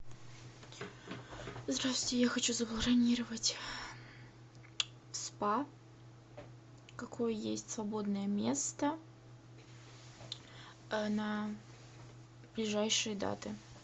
здравствуйте я хочу забронировать в спа какое есть свободное место на ближайшие даты